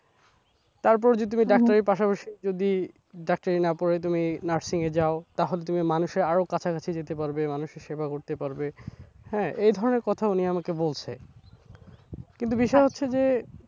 তারপরে যদি তুমি ডাক্তারির পাশাপাশি যদি ডাক্তারি না পড়ে তুমি nursing এ যাও তাহলে তুমি মানুষের আরও কাছাকাছি যেতে পারবে, মানুষের সেবা করতে পারবে হ্যাঁ এই ধরনের কথা উনি আমাকে বলসে। কিন্তু বিষয় হচ্ছে যে,